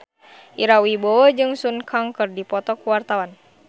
Ira Wibowo jeung Sun Kang keur dipoto ku wartawan